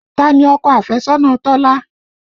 Ta ni ọkọ afẹ́sọ́nà Tọ́lá?